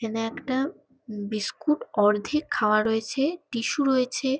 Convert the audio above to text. এখানে একটা বিস্কুট অর্ধেক খাওয়া রয়েছে টিসু রয়েছে।